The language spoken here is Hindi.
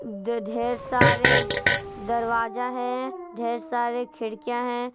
जो ढेर सारे दरवाजा हैं ढेर सारे खिड़कियां हैं।